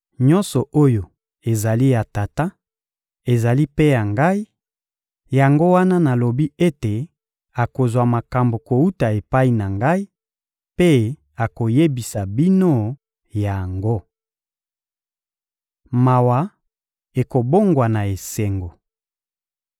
Nyonso oyo ezali ya Tata ezali mpe ya Ngai; yango wana nalobi ete akozwa makambo kowuta epai na Ngai mpe akoyebisa bino yango. Mawa ekobongwana esengo